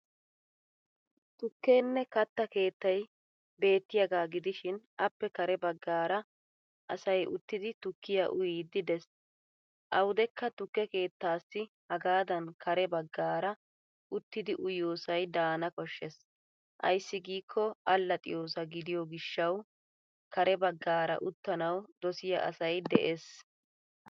Tukkenne katta keettay beettiyaagaa gidishin appe kare baggaara asay uttidi tukkiya uyiiddi de'es. Awudekka tukke kettaassi hagaadan kare baggaara uttidi uyiyoosay daana koshshes ayssi giikko allaxxiyoosaa gidiyo gishshawu kare baggaara uttanawu dosiyaa asay des.